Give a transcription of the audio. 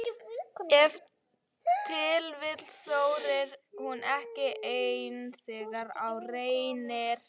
Ef til vill þorir hún ekki ein þegar á reynir?